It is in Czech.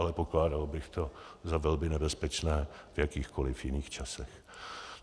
Ale pokládal bych to za velmi nebezpečné v jakýchkoliv jiných časech.